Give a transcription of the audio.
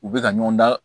U bɛ ka ɲɔgɔn da